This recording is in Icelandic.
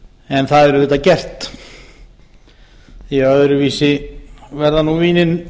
en það er auðvitað gert því að öðruvísi verða nú vínin